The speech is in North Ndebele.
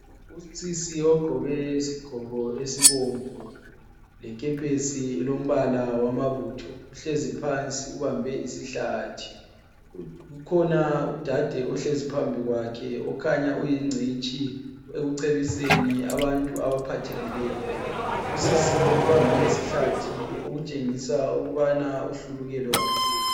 Usisi ogqoke isigqoko esibomvu lekepesi elombala wamabutho uhlezi phansi ubambe isihlathi. Ukhona udade ohlezi phambi kwakhe okhanya uyingcitshi ekucebiseni abantu abaphathekileyo. Usisi lo! ubambe isihlathi okutshengisa ukubana uhlulukelwe kakhulu.